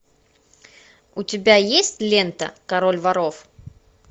у тебя есть лента король воров